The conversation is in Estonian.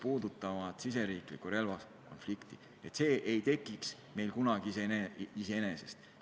Riigisisene relvakonflikt ei teki meil kunagi iseenesest.